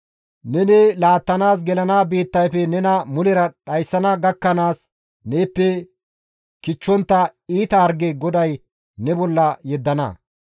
Neni laattanaas gelana biittayfe nena mulera dhayssana gakkanaas neeppe kichchontta iita harge GODAY ne bolla yeddana.